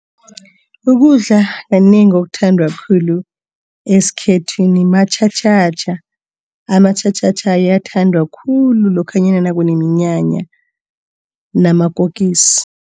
Ukudla kanengi okuthandwa khulu esikhethwini matjhatjhatjha. Amatjhatjhatjha ayathandwa khulu lokhanyana nakuneminyanya, namakukisi.